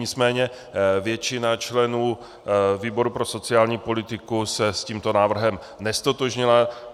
Nicméně většina členů výboru pro sociální politiku se s tímto návrhem neztotožnila.